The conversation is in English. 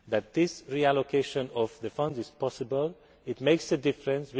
This reallocation of the funds is possible and makes a difference.